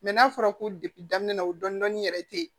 n'a fɔra ko daminɛ na o dɔnni yɛrɛ te yen